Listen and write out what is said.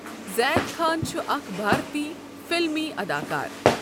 زید خان چھُ آكھ بارتی فلمی اداکار.